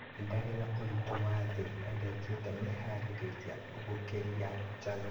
Ndarĩ na ũritũ wa thĩ na ndekĩte meharĩria gũkiria njano